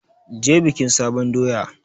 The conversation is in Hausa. Je bikin sabon doya!